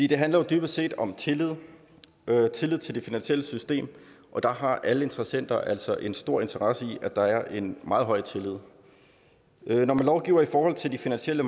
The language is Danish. det handler jo dybest set om tillid tillid til det finansielle system og der har alle interessenter altså en stor interesse i at der er en meget høj tillid når man lovgiver i forhold til de finansielle